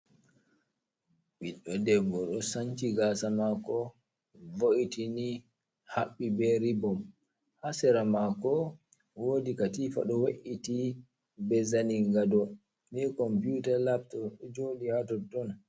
Ɓiɗɗo debbo ɗo sanchi gasa mako vo’iti ni haɓɓi be ribom, hasera mako wodi katifa ɗo we’iti be zanin gado, ni computer lab ɗo joɗi ha totton.